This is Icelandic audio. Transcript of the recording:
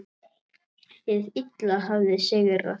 Hið illa hafði sigrað.